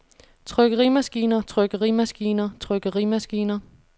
trykkerimaskiner trykkerimaskiner trykkerimaskiner